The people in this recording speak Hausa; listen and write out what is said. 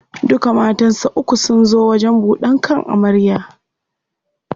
Duka matansa uku sun zo wajen buɗan kan amarya.